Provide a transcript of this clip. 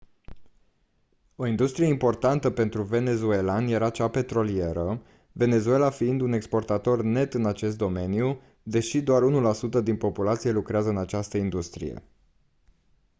o industrie importantă pentru venezuelani este cea petrolieră venezuela fiind un exportator net în acest domeniu deși doar 1% din populație lucrează în această industrie